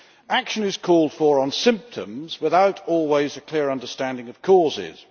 Action is called for on symptoms without always a clear understanding of causes.